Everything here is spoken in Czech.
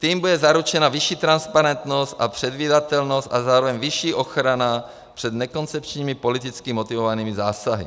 Tím bude zaručena vyšší transparentnost a předvídatelnost a zároveň vyšší ochrana před nekoncepčními politicky motivovanými zásahy.